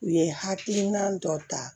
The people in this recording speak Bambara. U ye hakilina dɔ ta